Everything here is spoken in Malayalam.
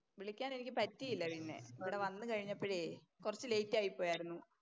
വിളിക്കാൻ എനിക്ക് പറ്റിയില്ല പിന്നെ. ഇവിടെ വന്നപ്പോഴേ കുറച്ച് ലേറ്റ് ആയി പോയാരുന്നു.